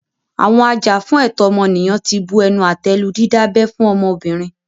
Àwọn ajàfún ẹ̀tọ́ ọmọnìyàn tí bu ẹnu àtẹ́ lu dídábẹ́ fún ọmọbìnrin.